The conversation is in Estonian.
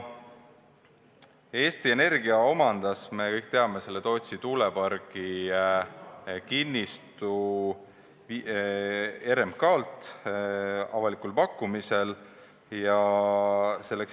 Eesti Energia omandas, nagu me kõik teame, Tootsi tuulepargi kinnistu RMK-lt avalikul pakkumisel.